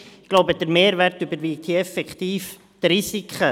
Ich glaube, der Mehrwert überwiegt hier effektiv die Risiken.